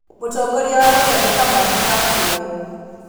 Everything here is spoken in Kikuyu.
Mũtongoria wa Rwanda nĩ Kamande wa Kioi.